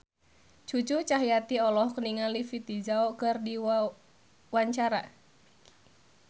Cucu Cahyati olohok ningali Vicki Zao keur diwawancara